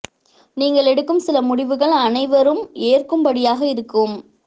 நீங்கள் எடுக்கும் சில முடிவுகள் அனைவரும் ஏற்கும் படியாக இருக்கும்